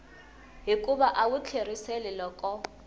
hikuva a wu tlheriseli loko